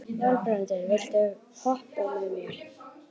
Valbrandur, viltu hoppa með mér?